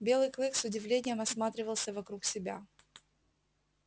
белый клык с удивлением осматривался вокруг себя